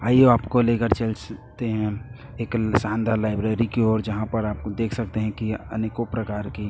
आइए आपको लेकर चलसते हैं एक शानदार लाइब्रेरी की ओर जहां पर आपको देख सकते हैं की आनेको प्रकार की--